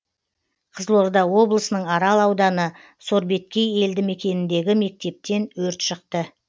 қызылорда облысының арал ауданы сорбеткей елді мекеніндегі мектептен өрт шықты